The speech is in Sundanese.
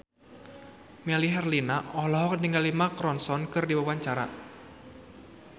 Melly Herlina olohok ningali Mark Ronson keur diwawancara